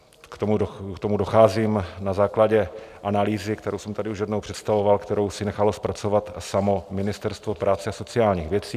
K tomu docházím na základě analýzy, kterou jsem tady už jednou představoval, kterou si nechalo zpracovat samo Ministerstvo práce a sociálních věcí.